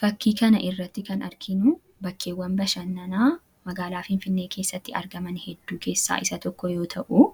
Fakkii kana irratti kan argiinu bakkeewwan bashannanaa magaalaa Finfinnee keessatti argaman hedduu keessaa isa tokko yoo ta'uu